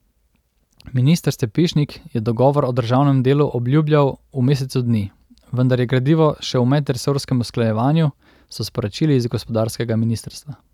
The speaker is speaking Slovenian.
Minister Stepišnik je dogovor o državnem delu obljubljal v mesecu dni, vendar je gradivo še v medresorskem usklajevanju, so sporočili iz gospodarskega ministrstva.